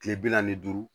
Kile bi naani ni duuru